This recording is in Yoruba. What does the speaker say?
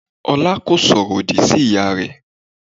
Ọlá kò sọ̀rọ̀ òdì sí ìyá rẹ.